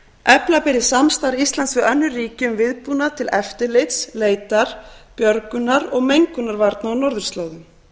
efla beri samstarf íslands við önnur ríki um viðbúnað til eftirlits leitar björgunar og mengunarvarna á norðurslóðum